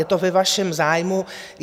Je to ve vašem zájmu.